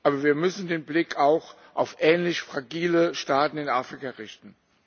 Aber wir müssen den Blick auch auf ähnlich fragile Staaten in Afrika richten.